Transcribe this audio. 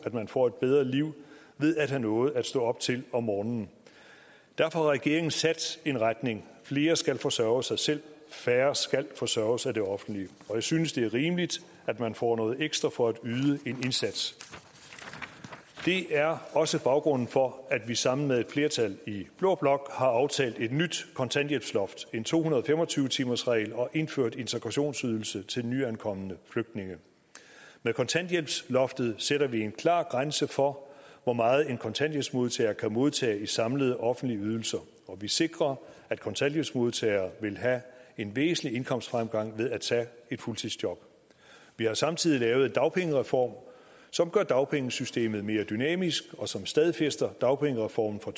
man får et bedre liv ved at have noget at stå op til om morgenen derfor har regeringen sat en retning flere skal forsørge sig selv færre skal forsørges af det offentlige og jeg synes det er rimeligt at man får noget ekstra for at yde en indsats det er også baggrunden for at vi sammen med et flertal i blå blok har aftalt et nyt kontanthjælpsloft og en to hundrede og fem og tyve timersregel og indført integrationsydelse til nyankomne flygtninge med kontanthjælpsloftet sætter vi en klar grænse for hvor meget en kontanthjælpsmodtager kan modtage i samlede offentlige ydelser og vi sikrer at kontanthjælpsmodtagere vil have en væsentlig indkomstfremgang ved at tage et fuldtidsjob vi har samtidig lavet en dagpengereform som gør dagpengesystemet mere dynamisk og som stadfæster dagpengereformen fra